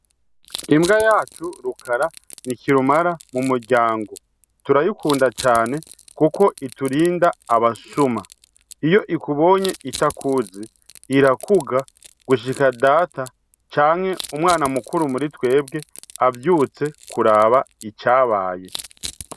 Imbwa yacu Rukara ni kirura mu muryango turayikunda cane kuko iturinda abasuma. Iyo ikubonye itakuzi irakuga gushika data canke umwana mukuru muri twebwe, avyutse akaja kuraba icabaye.